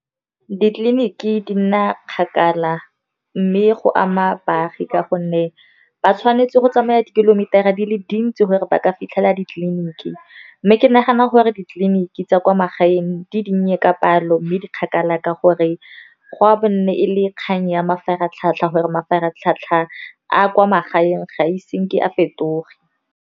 Ditleliniki di nna kgakala mme go ama baagi ka gonne ba tshwanetse go tsamaya di-kilometer-a di le dintsi gore ba ka fitlhela ditleliniki. Mme ke nagana gore ditleliniki tsa kwa magaeng di dinnye ka palo, mme di kgakala ka gore ga bo nne e le e kgang ya mafaratlhatlha, gore mafaratlhatlha a a kwa magaeng ga ise ke a fetoge.